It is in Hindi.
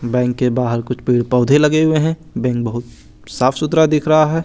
बैंक के बाहर कुछ पेड़ पौधे लगे हुए हैं बैंक बहुत साफ सुथरा दिख रहा है।